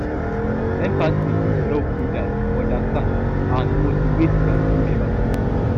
empathy dey help leaders to understand and motivate dia team members